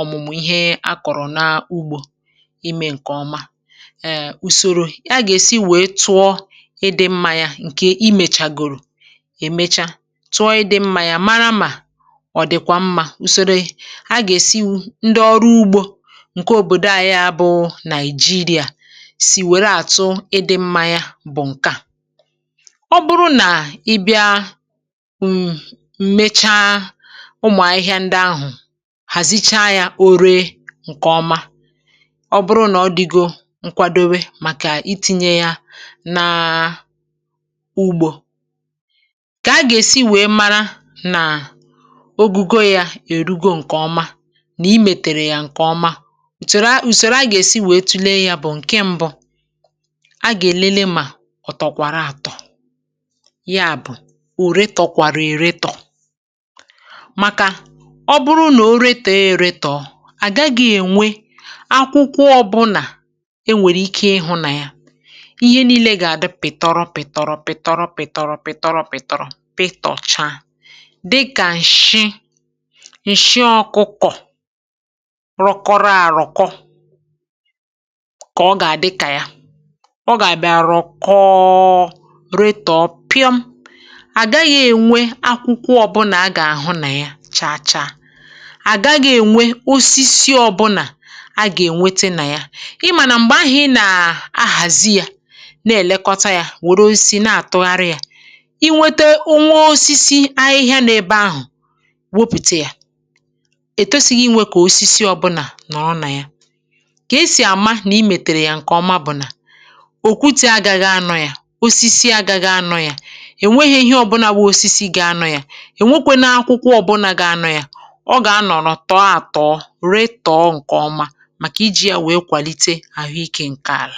ọ̀mụ̀mụ̀ ihe a kọ̀rọ̀ n’ugbȯ. Èè, ùsòrò a gà-èsi wèe tụọ ịdị̇ mmȧ yà, um, ǹkè imèchàgòrò, èmechá tụọ ịdị̇ mmȧ yà, màrà mà ọ̀ dị̀kwà mmȧ. Ùsòrò a gà-èsi, ndị ọrụ ugbȯ ǹke òbòdo à—yà bụ̀ Nàị̀jìrìà—sì wère àtụ ịdị̇ mmȧ yà. Bụ̀ ǹkè à: ọ̀ bụrụ nà ị bịa, ǹmèchá ụmụ̀ ahịhịa ndị ahụ̀, hàzìcha yà, o ree ǹkè ọma, nkwàdòbé màkà itìnyè yà nà ugbȯ, kà a gà-èsi wèe, um, màrà nà ogùgò yà èrùgò ǹkè ọma nà ì mètèrè yà ǹkè ọma. Ùsèrè a gà-èsi wèe, tụọlé yà. Bụ̀ ǹkè mbụ a gà-èlele, mà ọ̀tọ̀kwàrà àtọ̀. Yà bụ̀: o retòkwàrà, è retọ̀. Màkà ọ̀ bụrụ nà o retò yà, è retọ̀, à gà-agaghị ènwe akwụkwọ ọbụnà. Ìhè niile gà-àdụ pị̀tọrọ-pị̀tọrọ-pị̀tọrọ, pị̀tọrọ-pị̀tọrọ, pị̀tọrọ-pị̀tọrọ, peter ocha dịkà ǹshị ọkụkọ̀. Rọkọrọ-árọkọ, kà ọ gà-àdịkà yà. Ọ gà-àbịa àrọkọọ… retòòpịọ. À gà-agaghị̇ ènwe akwụkwọ ọ̀bụ̀nà. A gà-àhụ nà yà chààchà. À gà-agaghị̇ ènwe osisi ọbụnà. A gà-ènwètè nà yà. M̀gbè ahụ̀, ì nà-ahàzì yà, um, na-èlekọta yà, wòro osisi na-àtụgharị yà. Ì nwètè onwe osisi ahịhịa n’ebe ahụ̀, wòpùte yà, ètòsíghì, ịnwè kà osisi ọbụnà nọ̀rọ̀ nà yà. Kà e sì àmà nà ì mètèrè yà ǹkè ọma, bụ̀ nà òkùtė agàghì anọ̇ yà. Osisi agàghì anọ̇ yà. Ì nwèghì̇ ihe ọbụnà bụ̇ osisi gị̇ anọ̇ yà. Ì nwèkwe na-akwụkwọ ọbụnà gị anọ̇ yà. Ọ gà-anọ̀rọ̀, um, tọọ-àtọọ, rètọọ̀ọ, ǹkè ọma, màkà iji̇ yà ihe ghàrị ike ǹkè àlà.